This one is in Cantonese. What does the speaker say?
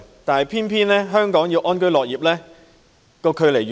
但是，偏偏在香港要安居樂業，越來越難。